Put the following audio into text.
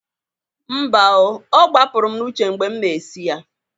Mba o, ọ gbapụrụ m n'uche mgbe m na-esi ya.